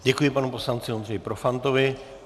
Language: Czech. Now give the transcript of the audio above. Děkuji panu poslanci Ondřeji Profantovi.